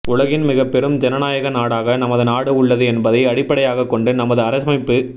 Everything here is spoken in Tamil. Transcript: உலகின் மிகப் பெரும் ஜனநாயக நாடாக நமது நாடு உள்ளது என்பதை அடிப்படையாகக் கொண்டு நமது அரசமைப்புச்